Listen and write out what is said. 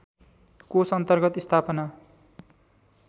कोष अन्तर्गत स्थापना